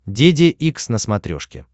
деде икс на смотрешке